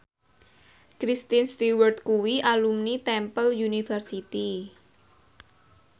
Kristen Stewart kuwi alumni Temple University